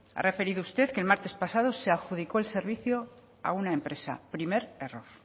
ha referido usted que el martes pasado se adjudicó el servicio a una empresa primer error